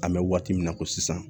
An bɛ waati min na ko sisan